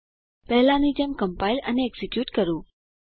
પહેલાંની જેમ કમ્પાઈલ અને એક્ઝીક્યુટ કરો